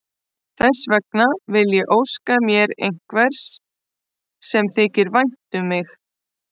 Þess vegna vil ég óska mér einhvers sem þykir vænt um mig.